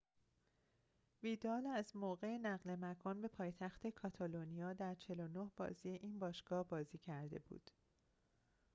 ویدال از موقع نقل مکان به پایتخت کاتالونیا در ۴۹ بازی این باشگاه بازی کرده بود